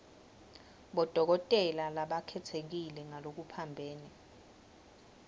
bodokotela labakhetsekile ngalokuphambene